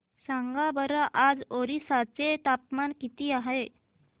सांगा बरं आज ओरिसा चे तापमान किती आहे